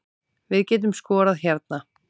Við getum skorað hérna